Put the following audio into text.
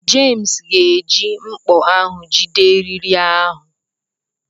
Jems ga-eji mkpọ ahụ jide eriri ahụ.